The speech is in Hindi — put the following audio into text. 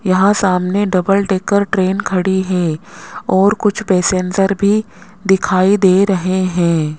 यहां सामने डबल डेकर ट्रेन खड़ी है और कुछ पैसेंजर्स भी दिखाई दे रहे हैं।